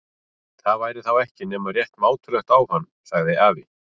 Það væri þá ekki nema rétt mátulegt á hann. sagði afi.